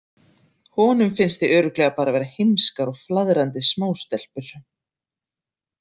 Honum finnst þið örugglega bara vera heimskar og flaðrandi smástelpur.